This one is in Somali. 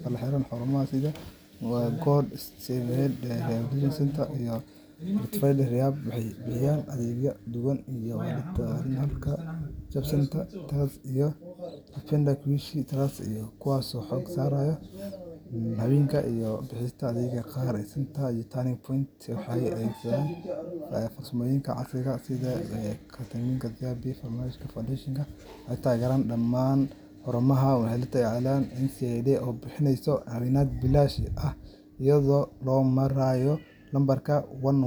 Xarumo sida Good Shepherd Rehabilitation Centre iyo The Retreat Rehab waxay bixiyaan adeegyo daaweyn iyo la-talin, halka Reachout Centre Trust iyo Napenda Kuishi Trust ay xoogga saaraan dhalinyarada iyo bulshada xeebaha. Althea Rehabilitation waxay diiradda saartaa haweenka, iyada oo bixisa adeegyo gaar ah. Sidoo kale, xarumo sida Tigoni Treatment Centre iyo Turning Point Centre waxay adeegsanayaan farsamooyin casri ah sida ketamine therapy. Faraja Foundation waxay taageertaa dadka xiran si ay ugu noqdaan bulshada. Dhammaan xarumahan waxaa lagu taageeraa ama la shaqeeyaan hay’adda NACADA, oo bixinaysa caawimaad bilaash ah iyada oo loo marayo lambarka one one.